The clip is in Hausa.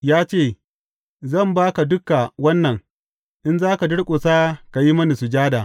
Ya ce, Zan ba ka dukan wannan, in za ka durƙusa ka yi mini sujada.